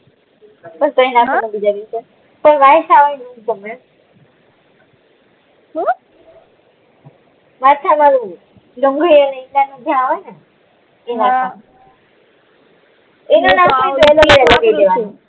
સુ માથા વાળું હમ એ નાખવાનું